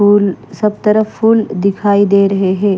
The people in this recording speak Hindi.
फूल सब तरफ फूल दिखाई दे रहे हैं।